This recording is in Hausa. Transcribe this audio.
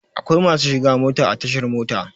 Akwai masu shiga mota a tashar mota.